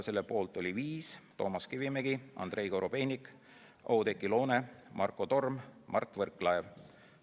Selle poolt oli viis liiget: Toomas Kivimägi, Andrei Korobeinik, Oudekki Loone, Marko Torm, Mart Võrklaev.